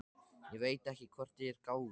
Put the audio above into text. Ég veit ekki hvort ég er gáfuð.